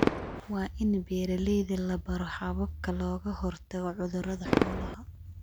Waa in beeralayda la baro hababka looga hortago cudurrada xoolaha.